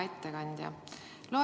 Hea ettekandja!